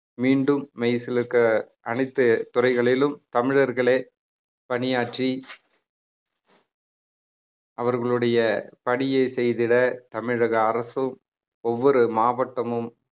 மீண்டும் மெய்சிலிர்க்க அனைத்து துறைகளிலும் தமிழர்களே பணியாற்றி அவர்களுடைய பணியை செய்திட தமிழக அரசும் ஒவ்வொரு மாவட்டமும்